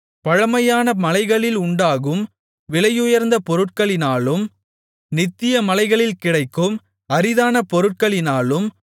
பழமையான மலைகளில் உண்டாகும் விலையுயர்ந்த பொருட்களினாலும் நித்திய மலைகளில் கிடைக்கும் அரிதான பொருட்களினாலும்